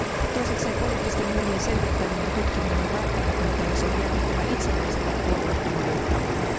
Myös poliittisten murhien selvittäminen ja tutkiminen on välttämätöntä, ja se on jätettävä itsenäiselle ja puolueettomalle taholle.